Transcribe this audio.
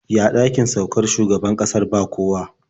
Ya ɗakin saukar shugaban ƙasar ba kowa?